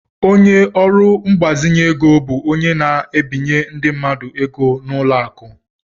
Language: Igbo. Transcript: Ọnye orụ mgbazinye égo bụ ónyé na- ebinye ndị mmadụ ego n' ụlọ akụ.